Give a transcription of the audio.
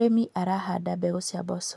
mũrĩmi arahanda mbegũ cia mboco